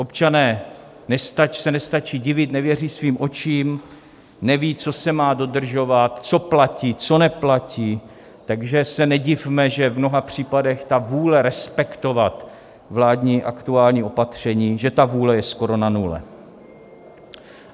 Občané se nestačí divit, nevěří svým očím, neví, co se má dodržovat, co platí, co neplatí, takže se nedivme, že v mnoha případech ta vůle respektovat vládní aktuální opatření, že ta vůle je skoro na nule.